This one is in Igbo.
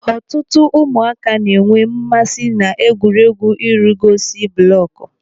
Ọtụtụ ụmụaka na-enwe mmasị n'egwuregwu ịrugosi bụlọkụ.